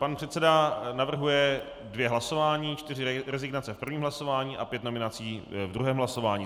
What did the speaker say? Pan předseda navrhuje dvě hlasování, čtyři rezignace v prvním hlasování a pět nominací v druhém hlasování.